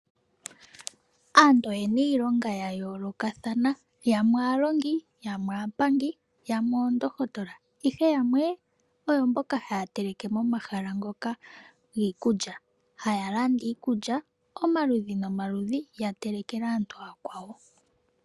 Aantu oyena iilonga ya yoolokathana yamwe aalongi, yamwe aapangi, yamwe oondohotola ihe yamwe oyo mboka haya teleke momahala ngoka giikulya haya landa iikulya omaludhi nomaludhi ya telekele aantu aakwawo.